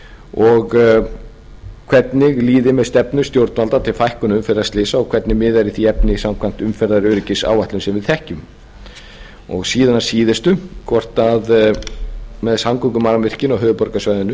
og hvernig líði með stefnu stjórnvalda til fækkunar umferðarslysa og hvernig miðar í því efni samkvæmt umferðaröryggisáætlun sem við þekkjum síðan að síðustu með samgöngumannvirkin á höfuðborgarsvæðinu